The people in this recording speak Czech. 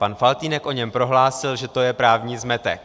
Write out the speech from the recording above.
Pan Faltýnek o něm prohlásil, že to je právní zmetek.